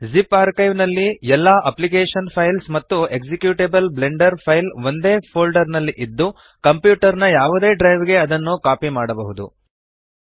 zip archive ನಲ್ಲಿ ಎಲ್ಲ application files ಮತ್ತು ಎಕ್ಸಿಕ್ಯೂಟೇಬಲ್ ಬ್ಲೆಂಡರ್ ಫೈಲ್ ಒಂದೇ ಫೋಲ್ಡರ್ ನಲ್ಲಿ ಇದ್ದು ಕಂಪ್ಯೂಟರ್ ನ ಯಾವದೇ ಡ್ರೈವ್ ಗೆ ಅದನ್ನು ಕಾಪಿ ಮಾಡಬಹುದು